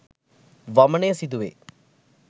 වමනය සිදු වේ